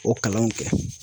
O kalanw kɛ.